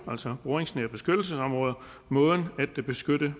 altså boringsnære beskyttelsesområder måden at beskytte